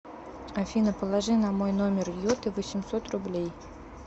афина положи на мой номер йоты восемьсот рублей